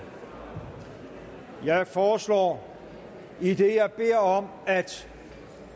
jeg foreslår idet jeg beder om at